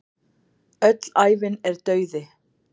Öll ævin er dauði.